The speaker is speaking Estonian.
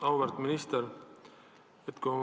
Auväärt minister!